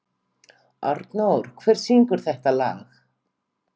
Arnór, hver syngur þetta lag?